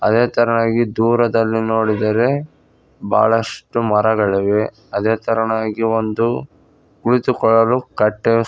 ಅದೇ ತರನಾಗಿ ದೂರದಲ್ಲಿ ನೋಡಿದರೆ ಬಹಳಷ್ಟು ಮರಗಳಿವೆ ಅದೇ ತರನಾಗಿ ಒಂದು ಕುಳಿತುಕೊಳ್ಳಲು ಕಟ್ಟೆ--